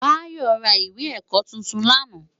Bayo rá iwé èkò tútún làná